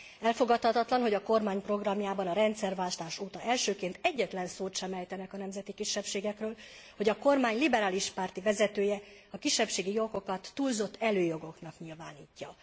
Elfogadhatatlan, hogy a kormány programjában a rendszerváltás óta elsőként egyetlen szót sem ejtenek a nemzeti kisebbségekről, hogy a kormány liberális párti vezetője a kisebbségi jogokat túlzott előjogoknak nyilvánítja.